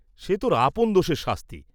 সে তোর আপন দোষের শাস্তি।